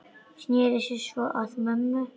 Sneri sér svo að mömmu.